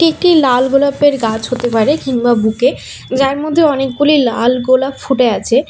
এটি লাল গোলাপের গাছ হতে পারে কিংবা বুকে যার মধ্যে অনেকগুলি লাল গোলাপ ফুটে আছে।